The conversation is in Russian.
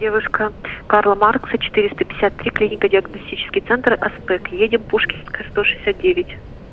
девушка карла маркса четыреста пятьдесят три клинико-диагностический центр аспект едем пушкинская сто шестьдесят девять